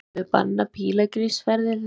Höfum við bannað pílagrímsferðir þeirra?